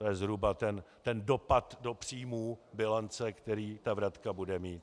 To je zhruba ten dopad do příjmů, bilance, který ta vratka bude mít.